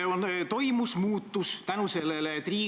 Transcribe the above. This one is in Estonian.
Te ütlesite irooniliselt "armastatud koalitsioonipartner".